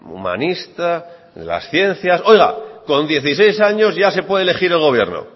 humanista o las ciencias con dieciséis años ya se puede elegir el gobierno